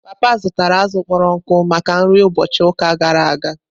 Papa zụtara azụ̀ kpọrọ nkụ maka nri ụbọchị ụka gara aga.